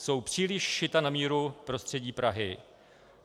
Jsou příliš šita na míru prostředí Prahy.